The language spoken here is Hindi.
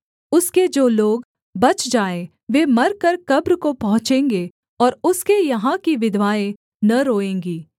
उसके जो लोग बच जाएँ वे मरकर कब्र को पहुँचेंगे और उसके यहाँ की विधवाएँ न रोएँगी